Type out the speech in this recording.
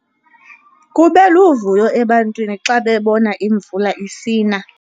Kube luvuyo ebantwini xa bebona imvula isina